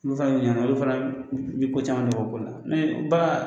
Olu fana olu fana bɛ ko caman dɔn o ko la bagan